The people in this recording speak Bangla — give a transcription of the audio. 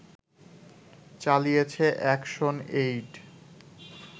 চালিয়েছে এ্যাকশনএইড